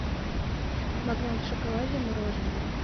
магнат в шоколаде мороженое